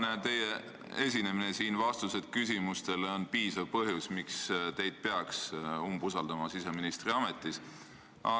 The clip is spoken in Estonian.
Teie tänane esinemine ja vastused küsimustele on piisav põhjus, miks peaks teid siseministri ametis umbusaldama.